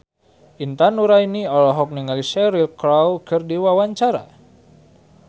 Intan Nuraini olohok ningali Cheryl Crow keur diwawancara